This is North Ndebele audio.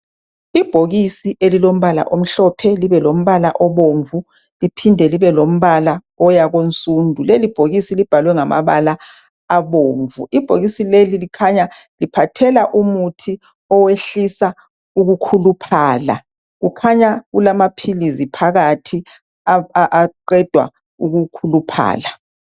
Ibhokisi elilombala omhlophe libuye libe lombala obomvu liphinde libe lombala oyakunsundu, lelibhokisi libhalwe ngamabala abomvu. Ibhokisi leli likhanya liphathela umuthi owehlisa ukukhuluphala. Kukhanya kulamaphilisi phakathi aqeda ukukhuluphala.